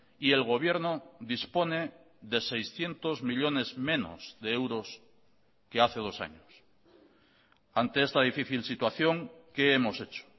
y el gobierno dispone de seiscientos millónes menos de euros que hace dos años ante esta difícil situación qué hemos hecho